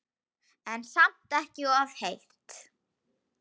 En samt ekki of heitt.